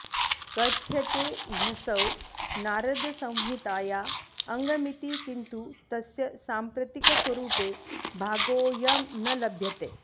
कथ्यते ह्यसौ नारदसंहिताया अङ्गमिति किन्तु तस्य साम्प्रतिकस्वरूपे भागोऽयं न लभ्यते